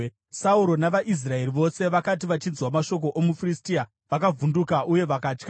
Sauro navaIsraeri vose vakati vachinzwa mashoko omuFiristia vakavhunduka uye vakatya.